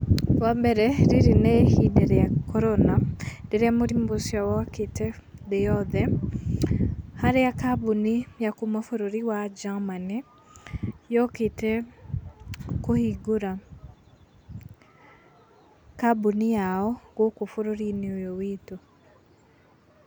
Wa mbere, rĩrĩ nĩ ihinda rĩa Corona, rĩrĩa mũrimũ ũcio wokĩte thĩ yothe, harĩa kambuni ya kuma bũrũri wa Germany yokĩte kũhingũra kambuni yao gũkũ bũrũri-inĩ ũyũ witũ.